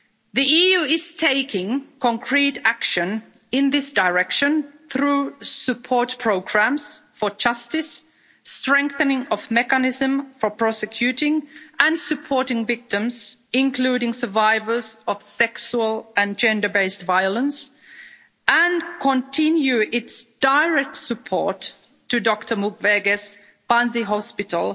The EU is taking concrete action in this direction through support programmes for justice, the strengthening of the mechanism for prosecuting and supporting victims, including survivors of sexual and gender based violence, and is continuing its direct support to Dr Mukwege's Panzi Hospital,